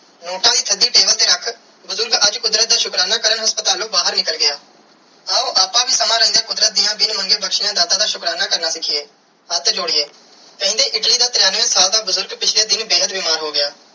Note ਦੀ ਤੁਹਾਡੀ ਦਿਲ ਤੇ ਰੱਖ ਬੁਜ਼ਰਗ ਅੱਜ ਕੁਦਰਤ ਦਾ ਸ਼ੁਕਰਾਨਾ ਕਾਰਨ ਹਾਸਪਤਲੁ ਬਾਹਿਰ ਨਿਕਲ ਗਿਆ ਆਓ ਆਪ ਵੀ ਸਮਾਂ ਰੇਂਦਿਆ ਕੁਦਰਤ ਦੀਆ ਬਿਨ ਮੰਗੇ ਬਖਸ਼ਿਆ ਦਾਤ ਦਾ ਸ਼ੁਕਰਾਨਾ ਕਰਨਾ ਸਿਖੀਏ ਹੱਥ ਜੋੜੀਏ ਕੇਂਦੀ ਇਟਲੀ ਦਾ ਤ੍ਰਿਣਵੇ ਸਾਲ ਦਾ ਬੁਜ਼ਰਗ ਪਿਛਲੇ ਦਿਨ ਬੇਹੱਦ ਬਿਮਾਰ ਸੀ.